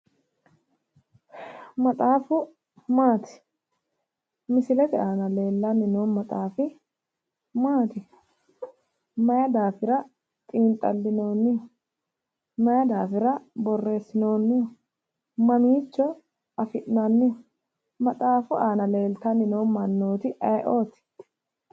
Maxaafu maati? Misilete aana leellanni noo maxaafi maati? Mayi daafira xiinxallinoonniho? Mayi daafira borreessinoonniho? Mamiicho afi'nanniho? Maxxafu aana leeltanni noo mannooti ayiooti?